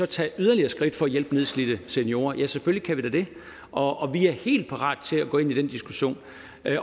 tage yderligere skridt for at hjælpe nedslidte seniorer ja selvfølgelig kan vi da det og og vi er helt parat til at gå ind i den diskussion